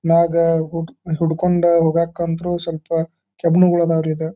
ಮ್ಯಾಗ ಹುಡ್ಕೊಂಡು ಹೋಗಗ್ ಅಂತ್ರು ಸ್ವಲ್ಪ ಕೆಬ್ಬಣಗಳು ಆದವು ರೀ ಇದು.